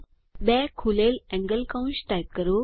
બે ખૂલેલ એંગલ કૌંસ ટાઇપ કરો